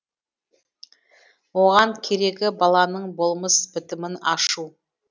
оған керегі баланың болмыс бітімін ашу